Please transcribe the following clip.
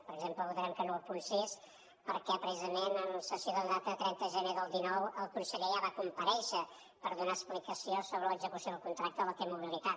per exemple votarem que no al punt sis perquè precisament en sessió de data de trenta de gener del dinou el conseller ja va comparèixer per donar explicació sobre l’execució del contracte de la t mobilitat